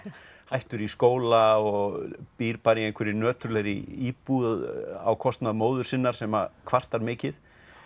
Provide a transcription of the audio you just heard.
hættur í skóla og býr bara í einhverri nöturlegri íbúð á kostnað móður sinnar sem kvartar mikið